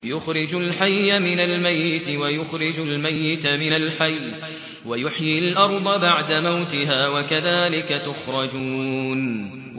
يُخْرِجُ الْحَيَّ مِنَ الْمَيِّتِ وَيُخْرِجُ الْمَيِّتَ مِنَ الْحَيِّ وَيُحْيِي الْأَرْضَ بَعْدَ مَوْتِهَا ۚ وَكَذَٰلِكَ تُخْرَجُونَ